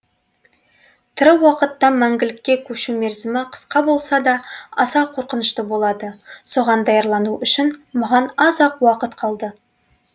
тірі уақыттан мәңгілікке көшу мерзімі қысқа болса да аса қорқынышты болады соған даярлану үшін маған аз ақ уақыт қалды